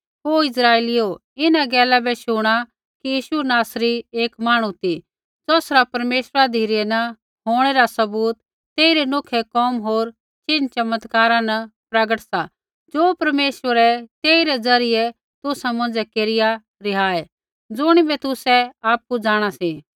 ओ इस्राइलीओ इन्हां गैला बै शुणा कि यीशु नासरी एक मांहणु ती ज़ौसरा परमेश्वरा धिरै न होंणै रा सबूत तेइरै नोखै कोम होर चिन्ह चमत्कारा न प्रगट सा ज़ो परमेश्वरै तेइरै ज़रियै तुसा मौंझ़ै केरिआ रिहाऐ ज़ुणिबै तुसै आपु जाँणा सी